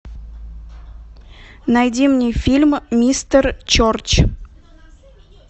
найди мне фильм мистер черч